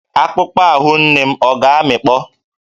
Akpụkpọ ahụ nne m ọ̀ ga-amịkpọ?